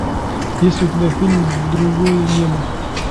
есть ли у тебя фильм другое небо